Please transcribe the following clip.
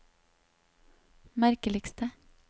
merkeligste